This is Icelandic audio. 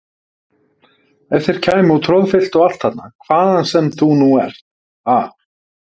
Ef þeir kæmu og troðfylltu allt þarna hvaðan sem þú nú ert, ha!